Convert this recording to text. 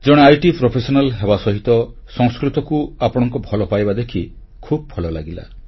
ଜଣେ ଆଇଟି ପେଶାଦାର ହେବା ସହିତ ସଂସ୍କୃତକୁ ଆପଣଙ୍କ ଭଲ ପାଇବା ଦେଖି ଖୁବ୍ ଭଲ ଲାଗିଲା